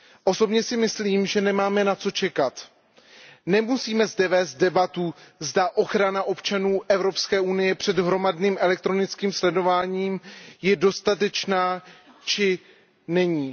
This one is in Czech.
Osobně si myslím, že nemáme na co čekat. Nemusíme zde vést debatu, zda ochrana občanů Evropské unie před hromadným elektronickým sledováním je dostatečná či není.